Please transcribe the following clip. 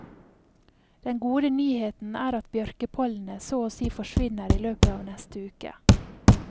Den gode nyheten er at bjørkepollenet så å si forsvinner i løpet av neste uke.